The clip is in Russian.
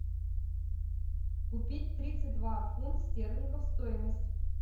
купить тридцать два фунт стерлингов стоимость